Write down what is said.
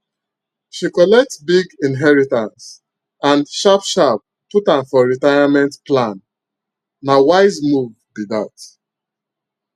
she collect big inheritance and sharp sharp put am for retirement planna wise move be that